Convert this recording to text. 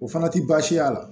O fana ti baasi y'a la